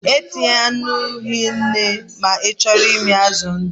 E tinyena nnu hie nne ma ị chọọ ịmị azụ ndụ